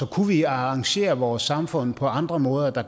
kunne vi arrangere vores samfund på andre måder